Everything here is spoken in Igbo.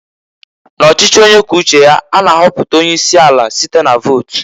N'ọchịchị onye kwuo uche ya, a na-ahọpụta onye isi ala site na-vot.